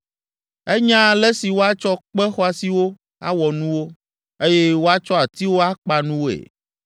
Enya ale si woatsɔ kpe xɔasiwo awɔ nuwo, eye woatsɔ atiwo akpa nuwoe.